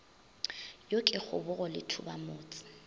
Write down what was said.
yo ke kgobogo le thubamotse